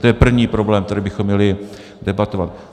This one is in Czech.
To je první problém, který bychom měli debatovat.